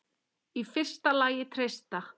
Í fyrsta lagi treysta